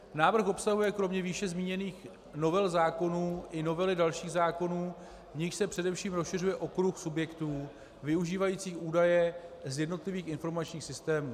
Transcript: Návrh obsahuje kromě výše zmíněných novel zákonů i novely dalších zákonů, u nichž se především rozšiřuje okruh subjektů využívajících údaje z jednotlivých informačních systémů.